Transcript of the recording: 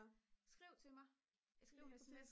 skriv til mig skriv en sms